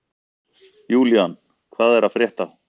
Julian, hvað er að frétta?